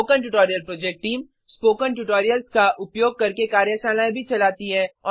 spoken tutorial project team spoken tutorials का उपयोग करके कार्यशालाएं भी चलाती है